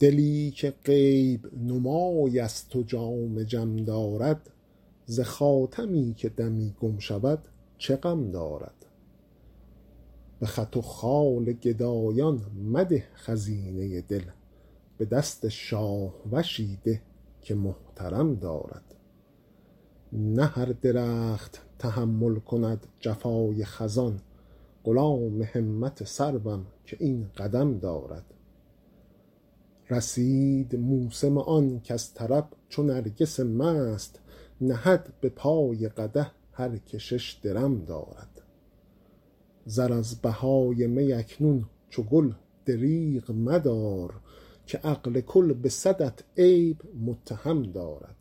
دلی که غیب نمای است و جام جم دارد ز خاتمی که دمی گم شود چه غم دارد به خط و خال گدایان مده خزینه دل به دست شاهوشی ده که محترم دارد نه هر درخت تحمل کند جفای خزان غلام همت سروم که این قدم دارد رسید موسم آن کز طرب چو نرگس مست نهد به پای قدح هر که شش درم دارد زر از بهای می اکنون چو گل دریغ مدار که عقل کل به صدت عیب متهم دارد